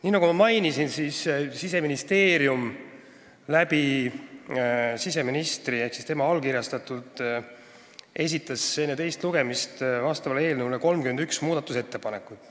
Nii nagu ma mainisin, esitas Siseministeerium enne eelnõu teist lugemist siseministri kaudu ehk tema allkirjaga 31 muudatusettepanekut.